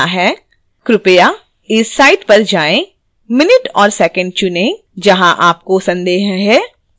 कृपया इस site पर जाएं minute और second चुनें जहां आपको संदेह है